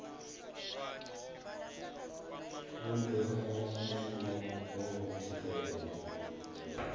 u mbekanyamushumo dza u thivhela